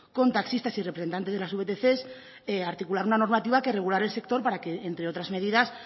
con taxistas y representantes de las vtc articular una normativa que regulara el sector para que entre otras medidas